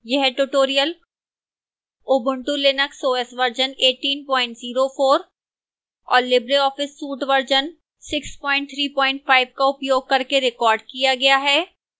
यह tutorial